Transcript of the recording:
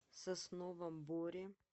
сосновом боре